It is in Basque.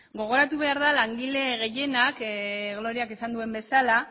gogoratu behar da langile gehienak gloriak esan duen bezala